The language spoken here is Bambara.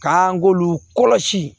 K'an k'olu kɔlɔsi